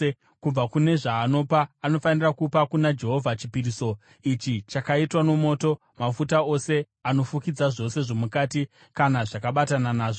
Kubva kune zvaanopa anofanira kupa kuna Jehovha chipiriso ichi chakaitwa nomoto, mafuta ose anofukidza zvose zvomukati kana zvakabatana nazvo,